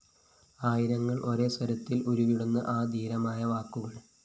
ആയിരങ്ങള്‍ ഒരേ സ്വരത്തില്‍ ഉരുവിടുന്നു ആ ധീരമായ വാക്കുകള്‍